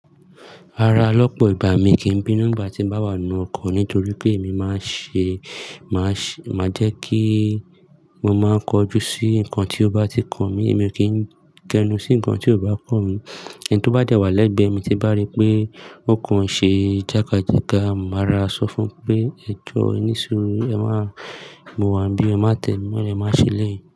Rara lọ́pọ̀ ìgbà mi kì í bínú ìgbà tí ń bá wà n nù ọkọ nítorí pé èmi máa ń ṣe, máa ṣe, máa jẹ́ kí mo, máa kojú sí nǹkan tí ó bá ti kàn mí, èmi ò kí ń kẹnu sí nǹkan tí ò bá kan mí. Ẹni tó bá dẹ̀ wá lẹ́gbẹ̀ẹ́ mi tí bá rí pé ó kàn ṣé jákájáka, màá ra sọ fún pé "ẹ jọ ẹní suru, ẹ máa mo wá ń bí, ẹ má tẹ́mi mọ́le, ẹ máa ṣè eléyií"